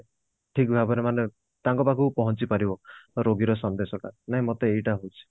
ଠିକ ଭାବରେ ମାନେ ତାଙ୍କ ପାଖକୁ ପହଞ୍ଚି ପାରିବ ରୋଗୀର ସନ୍ଦେଶ କଣ ନା ମତେ ଏଇଟା ହଉଛି